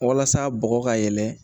Walasa bɔgɔ ka yɛlɛ